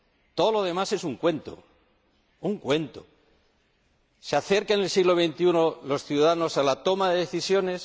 Todo lo demás es un cuento, ¡un cuento! ¿Se acercan en el siglo XXI los ciudadanos a la toma de decisiones?